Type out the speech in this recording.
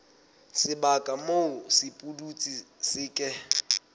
sebaka moo sepudutsi se ke